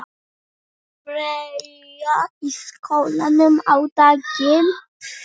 Freyja í skóla á daginn.